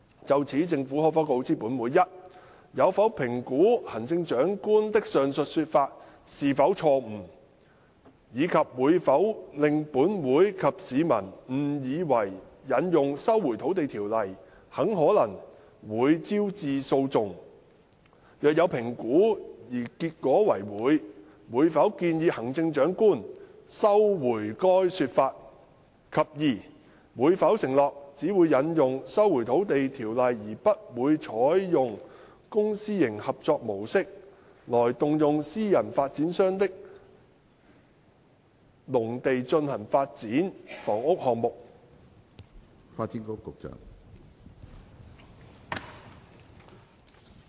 就此，政府可否告知本會：一有否評估行政長官的上述說法是否錯誤，以及會否令本會及市民誤以為引用《收回土地條例》很可能會招致訴訟；若有評估而結果為會，會否建議行政長官收回該說法；及二會否承諾只會引用《收回土地條例》而不會採用公私營合作模式，來動用私人發展商的農地進行發展房屋項目？